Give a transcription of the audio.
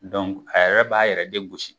a yɛrɛ b'a yɛrɛ de gosi.